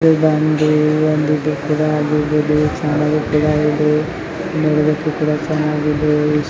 ಇದು ಬಂದು ಒಂದ್ ಆಗಿದೆ ಇದು ಚೆನ್ನಾಗೂ ಕೂಡ ಇದೆ ನೋಡೋದಕ್ಕೂ ಕೂಡಚೆನ್ನಾಗಿದೆ.